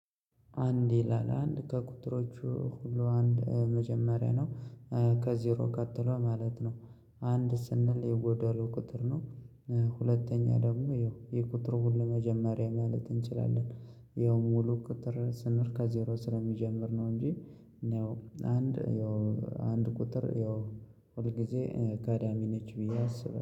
አንድ ይላል አንድ ከቁጥሮቹ ሁሉ አንድ መጀመሪያ ነው ከዜሮ ቀጥሎ ማለት ነው። አንድ ስንል የጎዶሎ ቁጥር ነው። ሁለተኛ ደግሞ ይኸው የቁጥር ሁሉ መጀመሪያ ማለት እንችላለን። ይሄም ሙሉ ቁጥር ስንል ከዜሮ ስለሚጀምር ነው እንጂ እንደው አንድ ያው አንድ ቁጥር ያው ሁል ጊዜ ቀዳሚ ነች ብዬ አስብ